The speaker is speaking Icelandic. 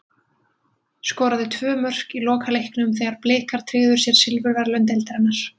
Skoraði tvö mörk í lokaleiknum þegar Blikar tryggðu sér silfurverðlaun deildarinnar.